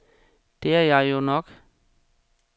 Det er jeg jo nok.